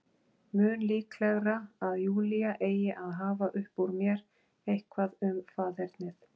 Mun líklegra að Júlía eigi að hafa upp úr mér eitthvað um faðernið.